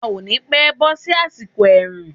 A ò ni pẹ́ bọ́ sí àsìkò ẹ̀rùn.